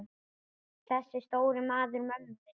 Þessi stóri maður mömmu minnar.